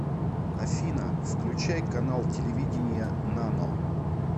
афина включай канал телевидения нано